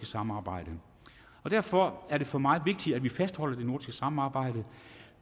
samarbejde derfor er det for mig vigtigt at vi fastholder det nordiske samarbejde